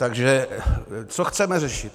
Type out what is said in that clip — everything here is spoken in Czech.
Takže co chceme řešit?